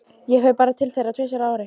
Ég fer bara til þeirra tvisvar á ári.